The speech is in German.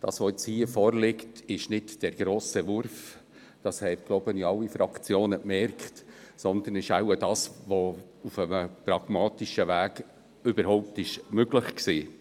Was jetzt hier vorliegt, ist nicht der grosse Wurf – ich glaube, das haben alle Fraktionen gemerkt –, sondern es ist wohl das, was auf einem pragmatischen Weg überhaupt möglich war.